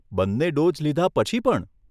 બંને ડોઝ લીધાં પછી પણ?